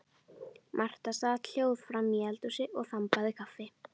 Marta sat hljóð framí eldhúsi og þambaði kaffi.